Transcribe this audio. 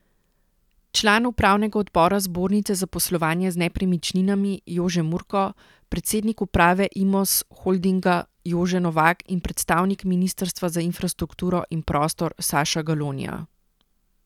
Član upravnega odbora Zbornice za poslovanje z nepremičninami Jože Murko, predsednik uprave Imos Holdinga Jože Novak in predstavnik ministrstva za infrastrukturo in prostor Saša Galonja.